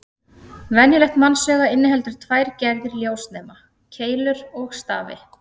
Venjulegt mannsauga inniheldur tvær gerðir ljósnema: Keilur og stafi.